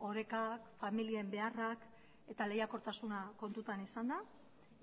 oreka familien beharrak eta leihakortasuna kontutan izanda